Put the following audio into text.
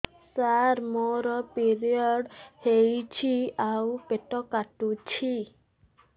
ସାର ମୋର ପିରିଅଡ଼ ହେଇଚି ଆଉ ପେଟ କାଟୁଛି